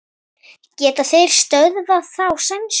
Geta þeir stöðvað þá sænsku?